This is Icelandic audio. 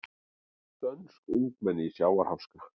Dönsk ungmenni í sjávarháska